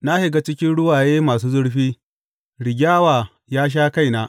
Na shiga cikin ruwaye masu zurfi; rigyawa ya sha kaina.